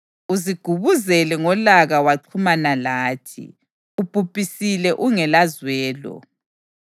Uzigubuzele ngolaka waxhumana lathi; ubhubhisile ungelazwelo.